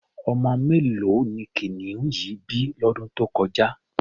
Ọmọ mélòó ni kìnìún yìí bí lọ́dún tó kọjá?